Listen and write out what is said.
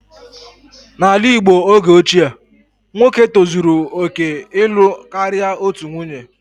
N'ala Igbo oge ochie, nwoke tozuru oke ịlụ karịa otu nwunye